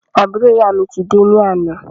Àbúrò ìyá mi ti dé ní àná